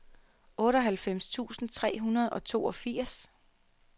otteoghalvfems tusind tre hundrede og toogfirs